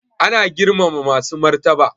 Ana girmama masu martaba